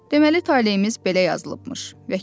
Deməli taleyimiz belə yazılıbmış.